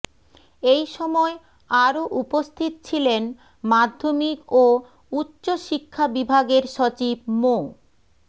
এই সময় আরো উপস্থিত ছিলেন মাধ্যমিক ও উচ্চ শিক্ষা বিভাগের সচিব মো